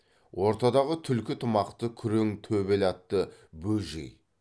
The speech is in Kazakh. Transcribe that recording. ортадағы түлкі тымақты күрең төбел атты бөжей